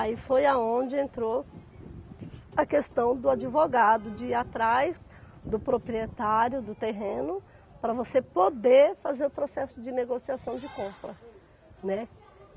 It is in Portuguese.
Aí foi aonde entrou a questão do advogado de ir atrás do proprietário do terreno para você poder fazer o processo de negociação de compra, né.